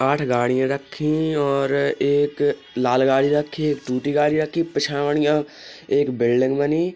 आठ गाड़ियां रखी और एक लाल गाडी रखी एक टूटी गाड़ी रखी। एक बिल्डिंग बनी।